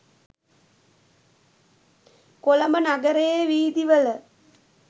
කොළඹ නගරයේ වීදි වල